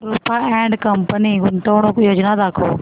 Rupa and company गुंतवणूक योजना दाखव